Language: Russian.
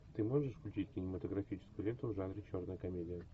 ты можешь включить кинематографическую ленту в жанре черная комедия